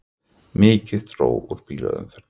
Mikið dró úr bílaumferð